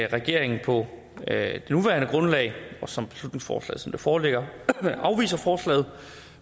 regeringen på det nuværende grundlag og som beslutningsforslaget foreligger afviser forslaget